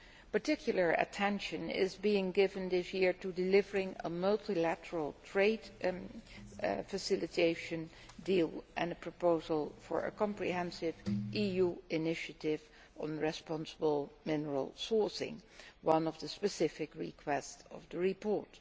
Particular attention is being given this year to delivering a multilateral trade facilitation deal and a proposal for a comprehensive EU initiative on responsible mineral sourcing one of the specific requests of the report.